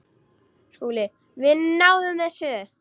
SKÚLI: Við náðum þessu.